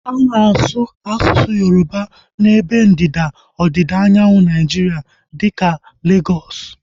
A na-asu asụsụ Yoroba n'ebe ndịda ọdịda anyanwụ Naijiria dịka Legọs